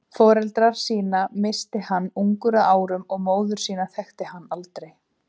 Foreldra sína missti hann ungur að árum og móður sína þekkti hann aldrei.